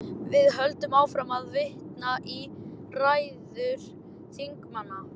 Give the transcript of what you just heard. Við höldum áfram að vitna í ræður þingmanna.